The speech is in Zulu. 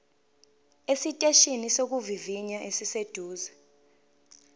esiteshini sokuvivinya esiseduze